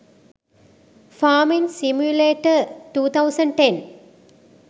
farming simulator 2010